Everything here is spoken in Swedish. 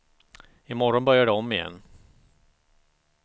I morgon börjar det om igen.